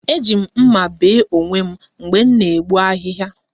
Eji m mma bee onwe m mgbe m na-egbu ahịhịa